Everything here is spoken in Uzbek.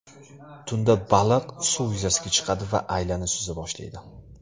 Tunda baliq suv yuzasiga chiqadi va aylana suza boshlaydi.